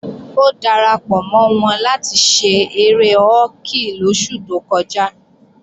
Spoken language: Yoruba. Ó darapọ̀ mọ́ wọn láti ṣe eré họ́kì lóṣù tó kọjá